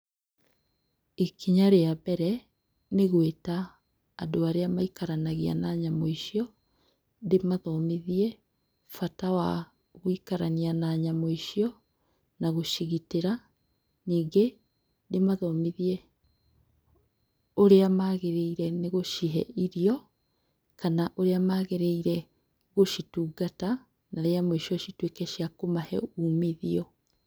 Ikinya rĩa mbere, nĩgwĩta andũ arĩa maikaranagia na nyamũ icio ndĩmathomithie bata wagũikarania na nyamũ icio na gũcigitĩra. Nyingĩ ndĩmathomithie ũrĩa mabataire gũcihe irio kana ũrĩa magĩrĩire gũcitungata na rĩa mũico cituĩke cia kũmahe umithio.